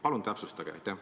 Palun täpsustage!